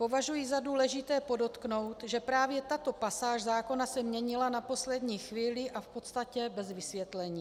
Považuji za důležité podotknout, že právě tato pasáž zákona se měnila na poslední chvíli a v podstatě bez vysvětlení.